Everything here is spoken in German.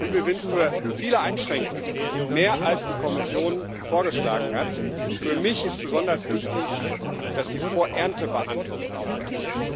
Und wir sind für viele Einschränkungen mehr, als die Kommission vorgeschlagen hat. Für mich ist besonders wichtig, dass die Vor Ernte Behandlung aufhört.